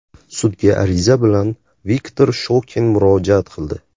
Sudga ariza bilan Viktor Shokin murojaat qildi.